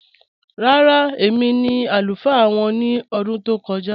Rárá, èmi ni alufaa wọn ni ọdún tó kọ̀ja